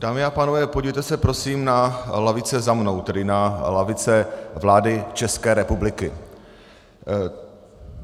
Dámy a pánové, podívejte se, prosím, na lavice za mnou, tedy na lavice vlády České republiky.